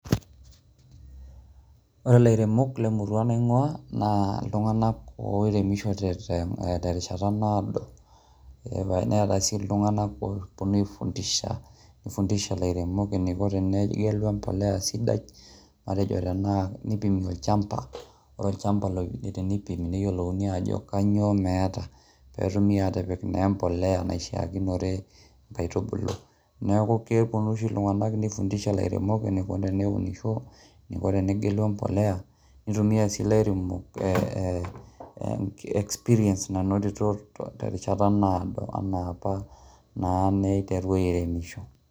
Ore lairemok le murrua naing'uaa naa oltunganak ooremisho te rishata naodo, neeta sii ltunganak ooponu aifundisha illairemok neiko tenegelu embolea sidai ,matejo tanaa neipimi olchamba, ore olchamba teneipimi neyiolouni ajo kanyioo meeta peetumi aatipik naa embolea naishaakinore naa nkaitubulu, neaku keponu oshii ltunganak neifundisha lairemok neiko teneunisho, neiko tenegelu embolea ,neitumiya sii lairemok experience nanotito terishata naado anaapa na meitaru aaremisho.